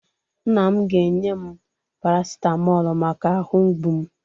Nna m ga-enye m parasitamọlụ maka ahụ mgbu m.